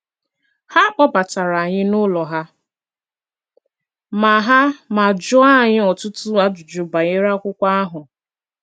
Ha kpọbatara anyị n’ụlọ ha ma ha ma jụọ anyị ọtụtụ ajụjụ banyere akwụkwo ahụ